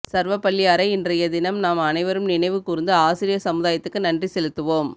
சர்வப்பள்ளியாரை இன்றய தினம் நாம் அனைவரும் நினைவு கூர்ந்து ஆசிரியர் சமுதாயத்துக்கு நன்றி செலுத்துவோம்